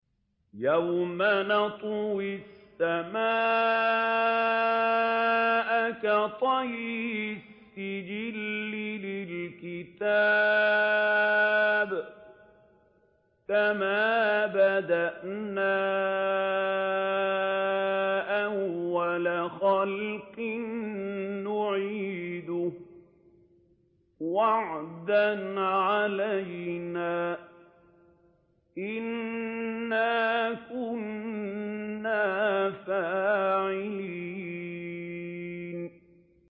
يَوْمَ نَطْوِي السَّمَاءَ كَطَيِّ السِّجِلِّ لِلْكُتُبِ ۚ كَمَا بَدَأْنَا أَوَّلَ خَلْقٍ نُّعِيدُهُ ۚ وَعْدًا عَلَيْنَا ۚ إِنَّا كُنَّا فَاعِلِينَ